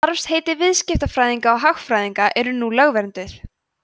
starfsheiti viðskiptafræðinga og hagfræðinga eru nú lögvernduð